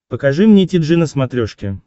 покажи мне ти джи на смотрешке